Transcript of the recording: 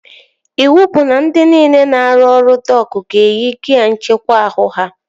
Iwu bụ na ndị niile na-arụ ọrụ dok ga-eyi gia nckekwa ahụ ha!